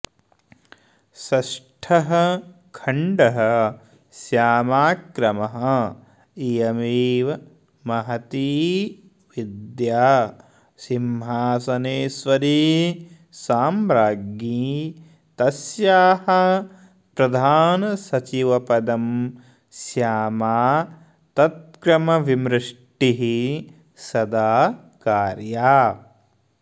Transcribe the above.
षष्ठः खण्डः श्यामाक्रमः इयमेव महती विद्या सिंहासनेश्वरी साम्राज्ञी तस्याः प्रधानसचिवपदं श्यामा तत्क्रमविमृष्टिः सदा कार्या